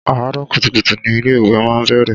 Àárọ̀ kùtùkùtù ni ilé ìwé máa ń bẹ̀rẹ̀.